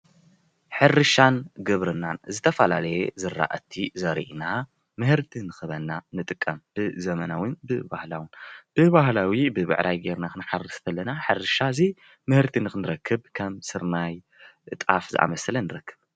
ሕርሻን ግብርናን ዝተፈላለየ ዝራእቲ ዘሪእና ምህርቲ ንኽበና ንጥቀም ብዘመናውን ብባህላውን፡፡ ብባህላዊ ብብዕራይ ጌርና ክንሓርስ ተለና ምህርቲ ንኽንረክብ ከም ስርናይ፣ ጣፍ ዝኣመሰለ ንረክብ፡፡